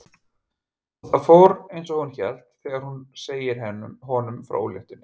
Og það fór einsog hún hélt þegar hún segir honum frá óléttunni.